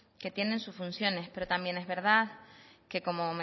que tienen sus funciones pero también es verdad como